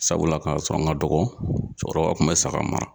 Sabula k'a sɔrɔ n ka dɔgɔ cɔkɔrɔba kun be saga mara